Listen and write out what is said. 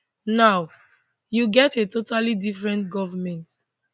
now you get a totally different goment